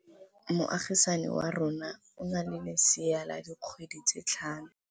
Moagisane wa rona o na le lesea la dikgwedi tse tlhano.